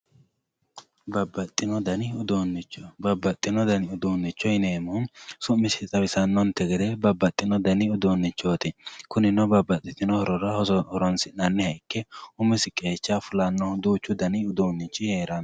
babaxino dani uuunnicho babbaxino dani uduunnicho yineemohu su'misi xawisannonte gede babbaxino dani uduunnichooti kunino babbaxittinno horora horoonsi'nanniha ikke qeechachi heeranno ho fulannohu duuchu dani uduunni